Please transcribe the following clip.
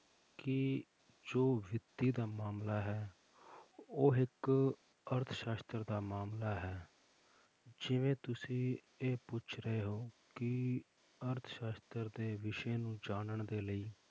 ਕਿ ਜੋ ਵਿੱਤੀ ਦਾ ਮਾਮਲਾ ਹੈ ਉਹ ਇੱਕ ਅਰਥਸਾਸ਼ਤਰ ਦਾ ਮਾਮਲਾ ਹੈ, ਜਿਵੇਂ ਤੁਸੀਂ ਇਹ ਪੁੱਛ ਰਹੇ ਹੋ ਕਿ ਅਰਥ ਸਾਸ਼ਤਰ ਦੇ ਵਿਸ਼ੇ ਨੂੰ ਜਾਣਨ ਦੇ ਲਈ